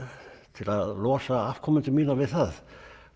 til að losa afkomendur mína við það